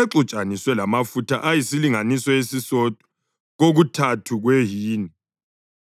exutshaniswe lamafutha ayisilinganiso esisodwa kokuthathu kwehini,